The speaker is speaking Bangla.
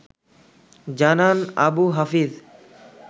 জানান আবু হাফিজ